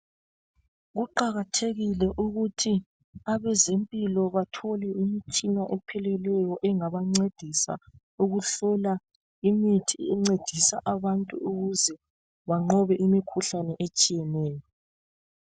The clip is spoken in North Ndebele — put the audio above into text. Kuqakathekile ukuthi abezempilo bathole imitshina epheleleyo engabancedisa ukuhlola imithi encedisa abantu ukuze banqobe imikhuhlane etshiyeneyo.